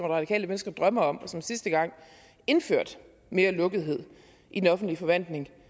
radikale venstre drømmer om og som sidste gang indførte mere lukkethed i den offentlige forvaltning